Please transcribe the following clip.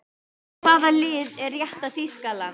Svo hvaða lið er rétta Þýskaland?